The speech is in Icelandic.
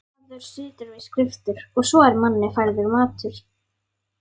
Maður situr við skriftir og svo er manni færður matur.